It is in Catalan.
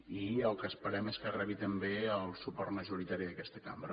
i el que esperem és que re bi també el suport majoritari d’aquesta cambra